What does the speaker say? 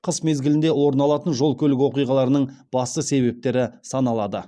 қыс мезгілінде орын алатын жол көлік оқиғаларының басты себептері саналады